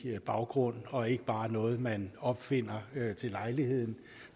baggrund og ikke bare er noget man opfinder til lejligheden